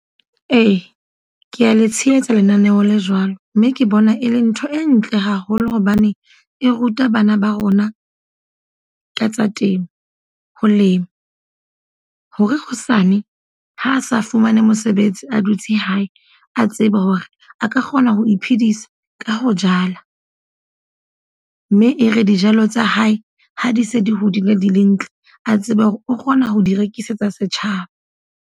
Ee, kea le tshehetsa lenaneo le jwalo. Mme ke bona e le ntho e ntle haholo hobane e ruta bana ba rona ka tsa temo, ho lema. Hore hosane ha a sa fumane mosebetsi, a dutse hae. A tsebe hore a ka kgona ho iphedisa ka ho jala. Mme e re dijalo tsa hae ha di se di hodile di le ntle. A tsebe hore o kgona ho di rekisetsa setjhaba.